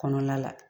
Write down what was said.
Kɔnɔna la